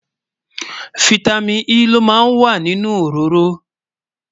fìtámín E ló má ń wà nínú òróró